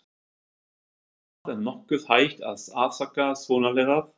Ef það er nokkuð hægt að afsaka svonalagað.